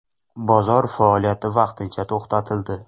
Bozor faoliyati vaqtincha to‘xtatildi.